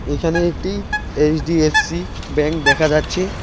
এখানে একটি HDFC bank দেখা যাচ্ছে।